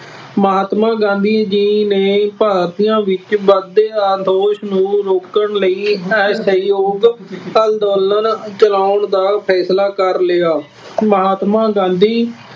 ਮਹਾਤਮਾ ਗਾਂਧੀ ਜੀ ਨੇ ਭਾਰਤੀਆਂ ਵਿੱਚ ਵੱਧਦੇ ਅਸੰਤੋਸ਼ ਨੂੰ ਰੋਕਣ ਲਈ ਇਹ ਸਹਿਯੋਗ ਅੰਦੋਲਨ ਚਲਾਉਣ ਦਾ ਫੈਸਲਾ ਕਰ ਲਿਆ। ਮਹਾਤਮਾ ਗਾਂਧੀ